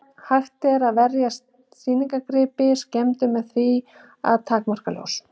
Hægt er að verja sýningargripi skemmdum með því að takmarka ljós.